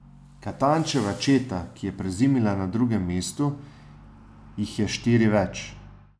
Katančeva četa, ki je prezimila na drugem mestu, jih je štiri več.